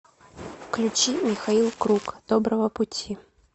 включи михаил круг доброго пути